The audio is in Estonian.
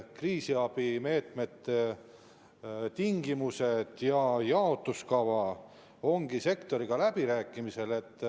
Kriisiabimeetmete tingimused ja jaotuskava ongi sektoriga läbirääkimisel.